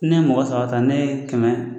Ni ne ye mɔgɔ saba ta, ne ye kɛmɛ